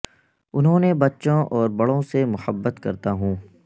انہوں نے بچوں اور بڑوں سے محبت کرتا ہوں